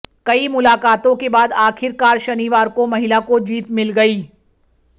कई मुलाकातों के बाद आखिरकार शनिवार को महिला को जीत मिल गई